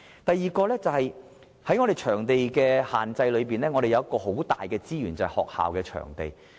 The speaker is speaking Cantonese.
第二，在場地限制方面，我們有一個很大的資源，就是學校場地。